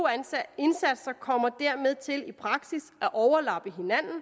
indsatser kommer dermed til i praksis at overlappe hinanden